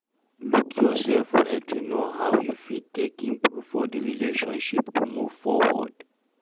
Look yourself well to know how you fit take improve for di relationship to move forward